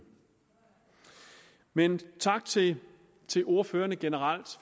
men tak til til ordførerne generelt